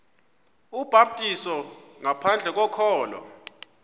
ubhaptizo ngaphandle kokholo